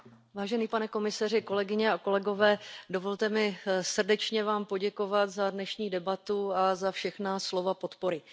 Pane předsedající, vážený pane komisaři, kolegyně a kolegové, dovolte mi srdečně vám poděkovat za dnešní debatu a za všechna slova podpory.